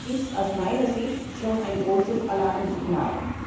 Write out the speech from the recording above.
Das ist aus meiner Sicht schon ein großes Alarmsignal.